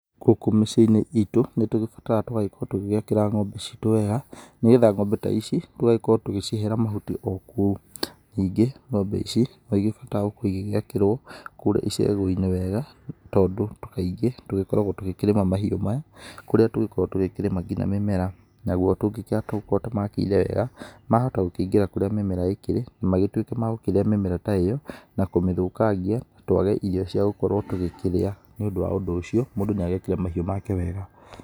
Gũkũ mĩciĩ-inĩ iitũ, nĩtũbataraga tũgagĩkorwo tũgĩgĩakĩra ng'ombe ciitũ wega, nĩgetha ng'ombe ta ici, tũgagĩkorwo tũgĩcihera mahuti o kũu, nĩngĩ ng'ombe ici, no igĩbataraga gũkorwo igĩgĩakĩrwo kũrĩa iceegũ inĩ wega, tondũ kaingĩ tũgĩkoragwo tũgĩkĩrĩma mahiũ maya, kũrĩa tũgĩkoragwo tũgĩkĩrĩma nginya mĩmera, naguo tũngĩkĩaga tũkorwo tũmakĩire wega, mahota o gũkĩingĩra kũrĩa mĩmera ĩkĩrĩ, na magĩtuĩke ma gũkĩrĩa mĩmera ta ĩyo, na kũmĩthũkangia, twage irio ciagũkorwo tũgĩkĩrĩa. Nĩ ũndũ wa ũndũ ũcĩo mũndũ nĩagĩakĩre mahiũ make wega.